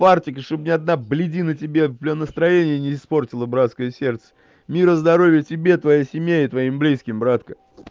чтобы ни одна б тебе настроение испортила братское сердце мира здоровья тебе и твоей семье и твоим близким братка